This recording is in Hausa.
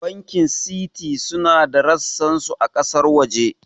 Bankin Citi suna da ressan su a ƙasar waje